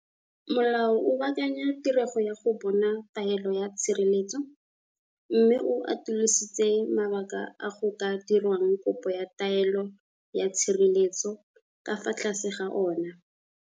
Molao o baakanya tirego ya go bona taelo ya tshireletso, mme o atolositse mabaka a go ka dirwang kopo ya taelo ya tshireletso ka fa tlase ga ona.